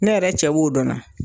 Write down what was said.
Ne yɛrɛ cɛ b'o dɔ la.